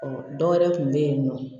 Ɔ dɔwɛrɛ kun bɛ yen nɔ